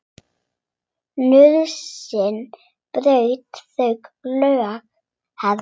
Nauðsyn braut þau lög, herra.